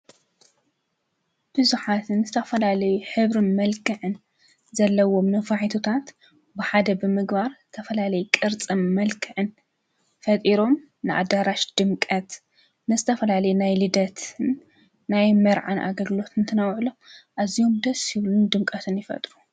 ብዙኃትን ዝተፈላለይ ኅብር መልክዕን ዘለዎም ነፋሒትታት ብሓደ ብምግባር ተፈላለይ ቕርጽም መልክዕን ፈጢሮም ንኣዳራሽ ድምቀት ንስተፈላለ ናይ ልደትን ናይ መርዓን ኣገግሎትን ተነውዕሎ እዚሆም ደ ሢብሉን ድምቀትን ይፈጥሩ።